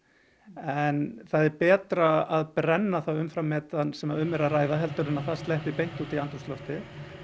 en það er betra að brenna það umfram metan sem um er að ræða heldur en það sleppi út í andrúmsloftið